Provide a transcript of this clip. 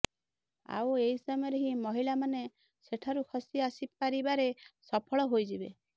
ଆଉ ଏହି ସମୟରେ ହିଁ ମହିଳାମାନେ ସେଠାରୁ ଖସି ଆସିପାରିବାରେ ସଫଳ ହୋଇଯିବେ